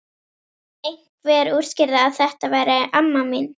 Einhver útskýrði að þetta væri amma mín.